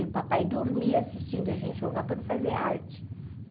E o papai dormia assistindo a gente jogar para não fazer arte.